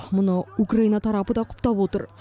мұны украина тарапы да құптап отыр